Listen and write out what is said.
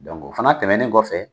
o fana tɛmɛnen kɔfɛ.